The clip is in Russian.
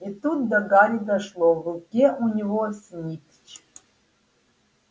и тут до гарри дошло в руке у него снитч